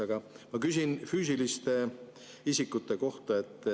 Aga ma küsin füüsiliste isikute kohta.